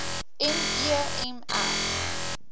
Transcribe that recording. me m r